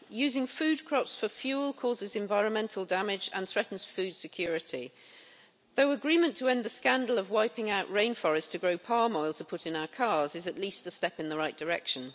Using food crops for fuel causes environmental damage and threatens food security, though agreement to end the scandal of wiping out rainforests to grow palm oil to put in our cars is at least a step in the right direction.